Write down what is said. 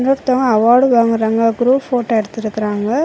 இன்னொருத்தவங்க அவார்ட் வாங்குறாங்க group photo எடுத்து இருக்காங்க.